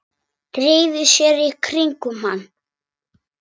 Dreifi sér í kringum hann.